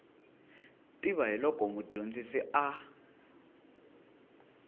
tiva hi loko mudyonzi a